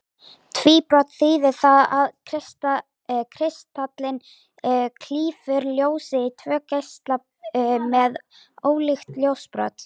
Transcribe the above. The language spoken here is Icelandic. Tvíbrot þýðir það að kristallinn klýfur ljósið í tvo geisla með ólíkt ljósbrot.